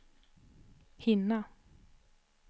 hinna